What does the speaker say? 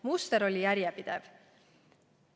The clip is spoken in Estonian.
Muster oli järjepidev.